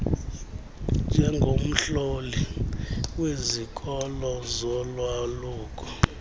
njengomhloli wezikolo zolwaluko